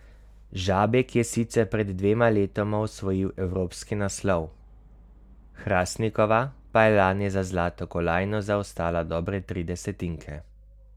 Žabjek je sicer pred dvema letoma osvojil evropski naslov, Hrastnikova pa je lani za zlato kolajno zaostala dobre tri desetinke.